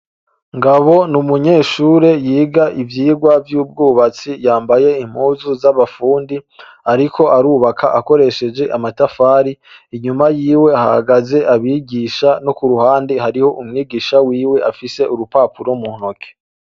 Ngabo ni umunyeshure yiga ivyigwa vy'ubwubatsi yambaye impuzu z'abafundi, ariko arubaka akoresheje amatafari, inyuma yiwe hahagaze abigisha, no ku ruhande hariho umwigisha wiwe afise urupapuro mu ntoke.